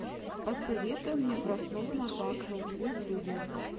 посоветуй мне краснову наташу в ютюбе